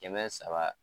Kɛmɛ saba